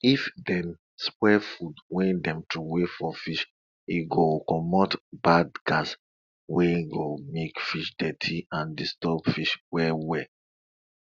if dem spoil food wey dem throw for fish e go commot bad gas wey go make water dirty and disturb fish well well